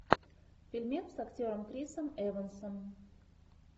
фильмец с актером крисом эвансом